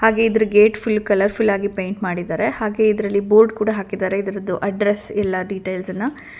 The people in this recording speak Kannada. ಹಾಗೇ ಇದ್ರು ಗೇಟ್ ಫುಲ್ ಕಲರ್ಫುಲ್ ಆಗಿ ಪೈಂಟ್ ಮಾಡಿದರೆ ಹಾಗೇ ಇದ್ರಲ್ಲಿ ಬೋರ್ಡ್ ಕೂಡ ಹಾಕಿದ್ದರೆ ಇದ್ರುದು ಅಡ್ರೆಸ್ ಎಲ್ಲಾ ಡೀಟೇಲ್ಸ್ ಅನ್ನ.